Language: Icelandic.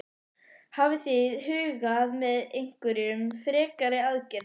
Hafið þið hugað að einhverjum frekari aðgerðum?